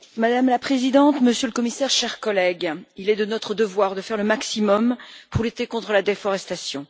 Madame la Présidente, Monsieur le Commissaire, chers collègues, il est de notre devoir de faire le maximum pour lutter contre la déforestation.